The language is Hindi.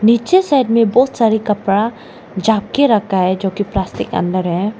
पीछे साइड में बहोत सारे कपड़ा झाप के रखा है जो कि प्लास्टिक अंदर है।